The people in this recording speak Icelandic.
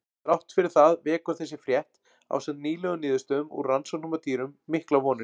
Þrátt fyrir það vekur þessi frétt, ásamt nýlegum niðurstöðum úr rannsóknum á dýrum, miklar vonir.